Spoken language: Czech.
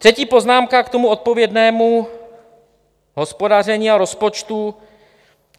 Třetí poznámka k tomu odpovědnému hospodaření a rozpočtu.